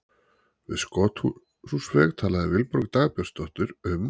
Við Skothúsveg talaði Vilborg Dagbjartsdóttir um